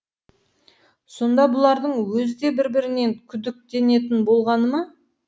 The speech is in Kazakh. сонда бұлардың өзі де бір бірінен күдіктенетін болғаны ма